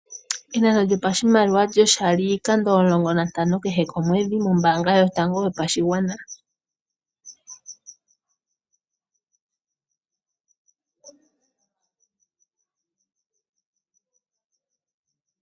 Enano lyopashimaliwa lyoshali iikando omulongo niitano kehe komwedhi mombaanga yotango yopashigwana.